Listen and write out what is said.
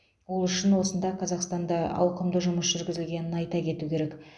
ол үшін осында қазақстанда ауқымды жұмыс жүргізілгенін айта кету керек